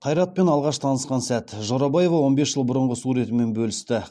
қайратпен алғаш танысқан сәт жорабаева он бес жыл бұрынғы суретімен бөлісті